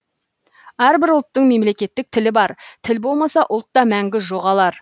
әрбір ұлттың мемлекеттік тілі бар тіл болмаса ұлт та мәңгі жоғалар